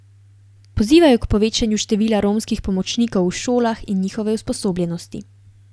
Pozivajo k povečanju števila romskih pomočnikov v šolah in njihove usposobljenosti.